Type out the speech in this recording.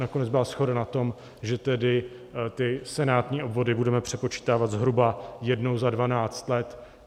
Nakonec byla shoda na tom, že tedy ty senátní obvody budeme přepočítávat zhruba jednou za 12 let.